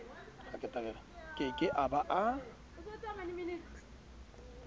ke ke a ba a